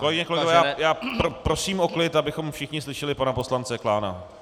Kolegyně, kolegové, já prosím o klid, abychom všichni slyšeli pana poslance Klána.